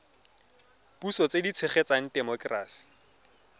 puso tse di tshegetsang temokerasi